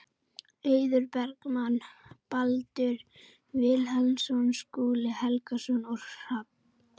Eiður Bergmann, Baldur Vilhelmsson, Skúli Helgason og Hrafn